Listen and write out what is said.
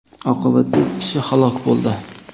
Oqibatda ikki kishi halok bo‘ldi.